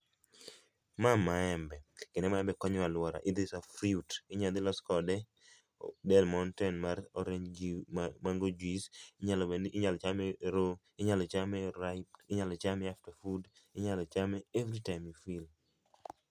Ma maembe, kendo maembe konyo aluora,i t is a fruit. Inya dhi los kode delmonte mar orange juice mar mango juice, inyalo bedo ni inyal chame raw, inyalo chame ka en ripe, inyalo chame after food, inyalo chame [csw]everytime you feel